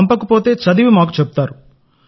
పంపలేకపోతే చదివి మాకు చెబుతారు